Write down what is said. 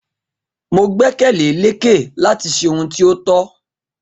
Mo gbẹ́kẹ̀lé Lékè láti ṣe ohun tí o tó